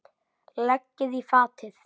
Leggið í fatið.